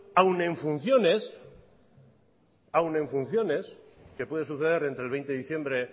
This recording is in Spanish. aún en funciones que puede suceder entre el veinte de diciembre